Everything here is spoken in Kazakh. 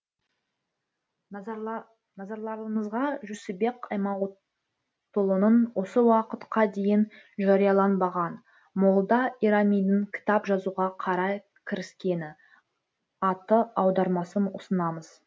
назарларыңызға жүсіпбек аймауытұлының осы уақытқа дейін жарияланбаған молда ирамидің кітап жазуға қалай кіріскені атты аудармасын ұсынамыз